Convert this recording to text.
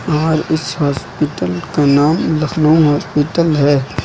और इस हॉस्पिटल का नाम लखनऊ हॉस्पिटल है।